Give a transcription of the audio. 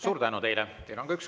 Suur tänu teile!